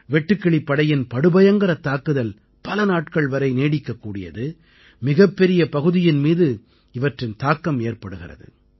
வெட்டுக்கிளிப் படையின் படுபயங்கரத் தாக்குதல் பலநாட்கள் வரை நீடிக்கக்கூடியது மிகப்பெரிய பகுதியின் மீது இதன் தாக்கம் ஏற்படுகிறது